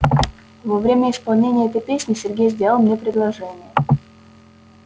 а во время исполнения этой песни сергей сделал мне предложение